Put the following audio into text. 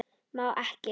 Má ekki.